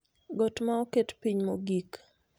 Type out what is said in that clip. Got ma oket piny mogik